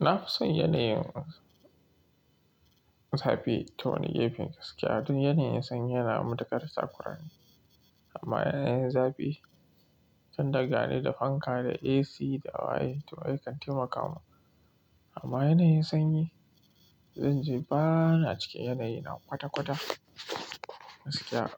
Na fi son yanayin zafi ta wani gefen gaskiya. Duk yanayin sanyi yana matuƙar tsakurani. Amma yanayin zafi can daga ne da fanka da AC da wayoyi suna iya taimakawa. Amma yanayin sanyi, zan je bana cikin yanayi na kwata-kwata gaskiya